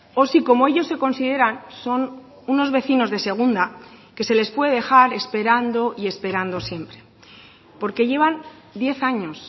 o si como ellos se consideran son unos vecinos de segunda que se les puede dejar esperando y esperando siempre porque llevan diez años